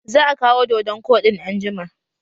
Za a kawo dodon koɗin anjima